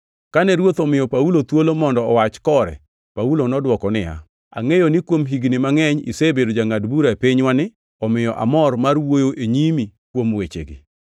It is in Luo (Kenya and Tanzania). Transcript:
Kane ruoth omiyo Paulo thuolo mondo owach kore, Paulo nodwoko niya, “Angʼeyo ni kuom higni mangʼeny isebedo jangʼad bura e pinywani, omiyo amor mar wuoyo e nyimi kuom wechegi.